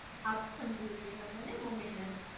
આપડે સમજાઈ દેવાના ને મમ્મી ને